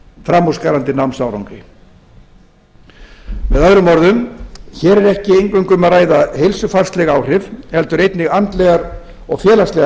framúrskarandi námsárangri með öðrum orðum hér er ekki eingöngu um að ræða heilsufarsleg áhrif heldur einnig andlegar og félagslegar